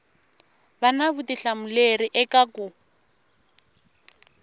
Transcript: va na vutihlamuleri eka ku